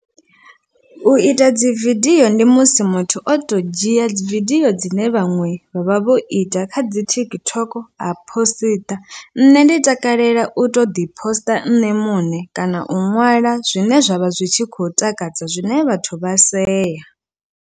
U ita dzi vidio ndi musi muthu o to dzhia vidio dzine vhaṅwe vha vha vho ita kha dzi TikTok ha posiṱa, nṋe ndi takalela u to ḓi poster nṋe muṋe kana u ṅwala zwine zwavha zwi tshi khou takadza zwine vhathu vha sea.